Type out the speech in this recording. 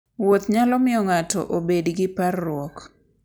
Wuoth nyalo miyo ng'ato obed gi parruok.